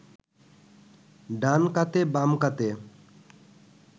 ডান কাতে বাম কাতে